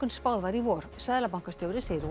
en spáð var í vor seðlabankastjóri segir